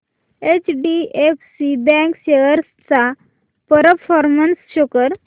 HDFC bank shares चा performance show कर